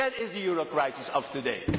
That is the euro crisis of today